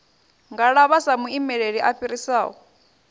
ngalavha sa muimeli a fhirisaho